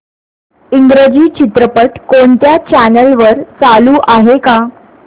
इंग्रजी चित्रपट कोणत्या चॅनल वर चालू आहे का